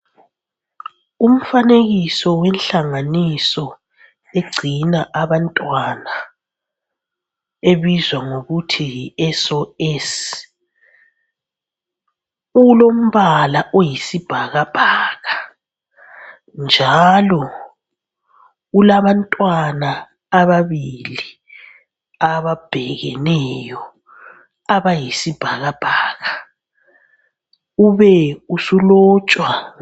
Umfanekiso wenhlanganiso egcina abantwana ebizwa ngokuthi yi SOS, ulombala oyisibhakabhaka, njalo ulabantwana ababili ababhekeneyo abayisibhakabhaka ube usulotshwa.